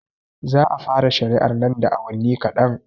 Za a fara shari'ar nan da awanni kaɗan